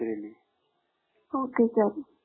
ok sir